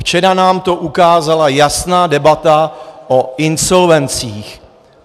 Včera nám to ukázala jasná debata o insolvencích.